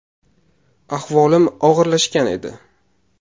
Ahvolim og‘irlashgan edi.